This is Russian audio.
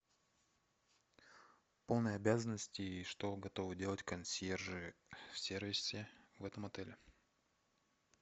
полные обязанности и что готовы делать консьержи в сервисе в этом отеле